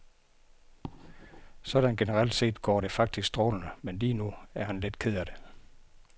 Sådan generelt set går det faktisk strålende, men lige nu er han lidt ked af det.